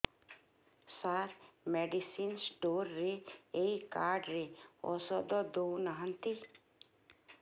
ସାର medicine store ରେ ଏଇ card ରେ ଔଷଧ ଦଉନାହାନ୍ତି